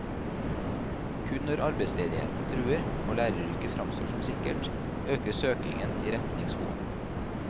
Kun når arbeidsledigheten truer, og læreryrket fremstår som sikkert, øker søkningen i retning skolen.